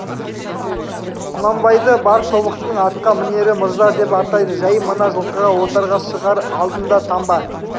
құнанбайды бар тобықтының атқа мінері мырза деп атайды жай мына жылқыға отарға шығар алдында таңба